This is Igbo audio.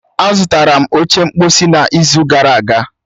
Azụtara m oche mkposi ọhụrụ n'izu ụka gara aga